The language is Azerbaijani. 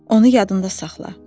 Onu yadında saxla.